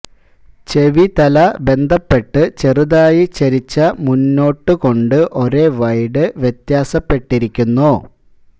ചെവി തല ബന്ധപ്പെട്ട് ചെറുതായി ചരിച്ച മുന്നോട്ട് കൊണ്ട് ഒരേ വൈഡ് വ്യത്യാസപ്പെട്ടിരിക്കുന്നു